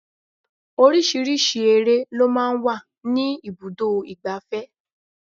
Oríṣiríṣi eré lọ máa ń wà ní ibùdó igbàfẹ́.